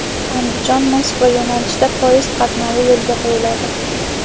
Andijon–Moskva yo‘nalishida poyezd qatnovi yo‘lga qo‘yiladi.